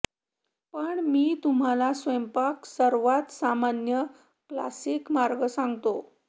पण मी तुम्हाला स्वयंपाक सर्वात सामान्य क्लासिक मार्ग सांगतो